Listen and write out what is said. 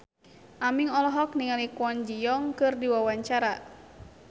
Aming olohok ningali Kwon Ji Yong keur diwawancara